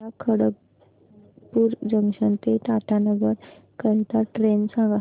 मला खडगपुर जंक्शन ते टाटानगर करीता ट्रेन सांगा